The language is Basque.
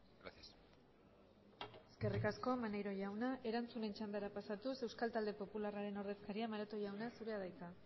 gracias eskerrik asko maneiro jauna erantzunen txandara pasatuz euskal talde popularraren ordezkaria maroto jauna zurea da hitza